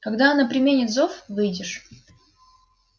когда она применит зов выйдешь